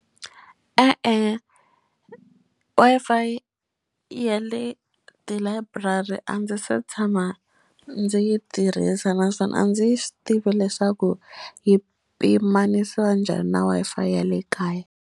E-e Wi-Fi ya le tilayiburari a ndzi se tshama ndzi yi tirhisa naswona a ndzi swi tivi leswaku yi pimanisiwa njhani na Wi-Fi ya le kaya.